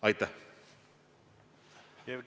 Aitäh!